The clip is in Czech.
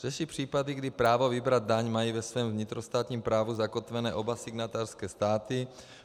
Řeší případy, kdy právo vybrat daň mají ve svém vnitrostátním právu zakotvené oba signatářské státy.